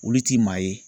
Olu ti maa ye